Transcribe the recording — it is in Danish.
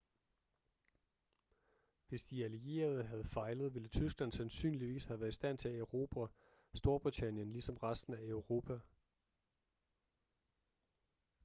hvis de allierede havde fejlet ville tyskland sandsynligvis have været i stand til at erobre storbritannien ligesom resten af europa